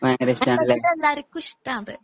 ഇവിടെ എല്ലാർക്കും ഇഷ്ട അത്